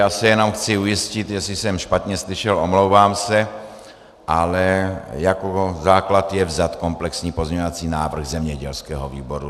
Já se jenom chci ujistit, jestli jsem špatně slyšel, omlouvám se, ale jako základ je vzat komplexní pozměňovací návrh zemědělského výboru.